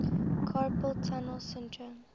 carpal tunnel syndrome